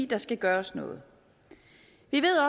der skal gøres noget